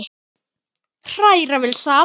Hræra vel saman.